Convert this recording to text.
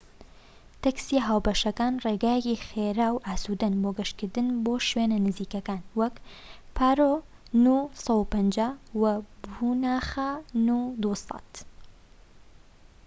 تەکسیە هاوبەشەکان ڕێگایەکی خێرا و ئاسوودەن بۆ گەشتکردن بۆ شوێنە نزیکەکان، وەک پارۆ نو 150 و پوناخە نو 200